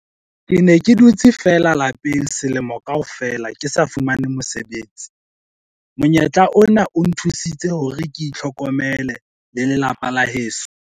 "Ke ne ke dutse feela lapeng selemo kaofela ke sa fumane mosebetsi. Monyetla ona o nthusitse hore ke itlhokomele le lelapa la heso."